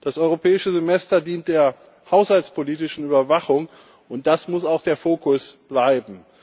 Das Europäische Semester dient der haushaltspolitischen Überwachung, und das muss auch der Fokus bleiben.